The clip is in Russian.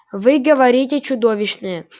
вы говорите чудовищные